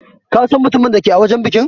Ka San mutumin da ke a wajen banki?